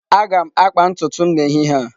Aga m akpa ntutu m n'ehihie a.